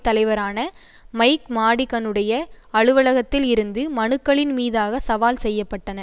தலைவரான மைக் மாடிகனுடைய அலுவலகத்தில் இருந்து மனுக்களின் மீதாக சவால் செய்ய பட்டன